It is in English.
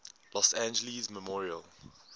los angeles memorial